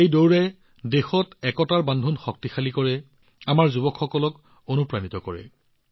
এই দৌৰে দেশত একতাৰ সূতা শক্তিশালী কৰে আমাৰ যুৱসকলক অনুপ্ৰাণিত কৰে